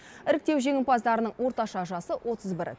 іріктеу жеңімпаздарының орташа жасы отыз бір